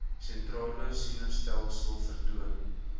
sentrale senustelsel vertoon